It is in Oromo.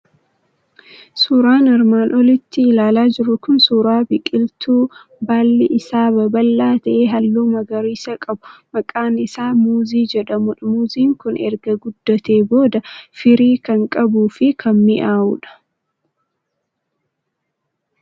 Suuraan armaan olitti ilaalaa jirru kun suuraa biqiltuu baalli isaa babal'aa ta'e, halluu magariisa qabu, maqaan isaa muuzii jedhamu dha. Muuziin kun erga guddateen booda firii kan qabuu fi kan miny'aawudha.